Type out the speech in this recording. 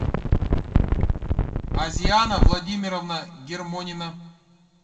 азиана владимировна гермонина